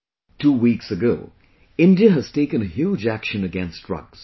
Two weeks ago, India has taken a huge action against drugs